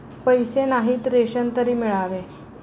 पैसे नाहीत, रेशन तरी मिळावे